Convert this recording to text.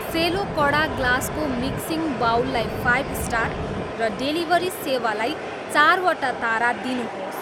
सेलो कडा ग्लासको mixing bowl लाई फाइभ स्टार र डेलिभरी सेवालाई चारवटा तारा दिनुहोस्